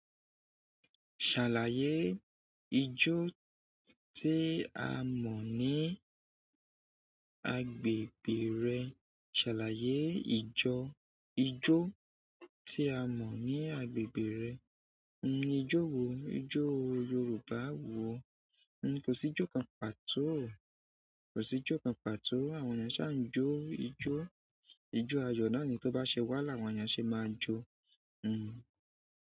Ṣàlàyé ijó tí a mọ̀ ní agbègbè rẹ. Ṣàlàyé ìjọ, ijó tí a mọ̀ ní agbègbè rẹ. Nnu, ijó wo? Ijó Yoruba wo? Nnu, kò sí ijó kan pàtó. Kò sí ijó kan pàtó. Àwọn ènìyàn ṣà ń jó ijó. Ijó ayọ̀ náà ni tó bá ṣe wà, làwọn ènìyàn ṣe máa n jó. Hmm.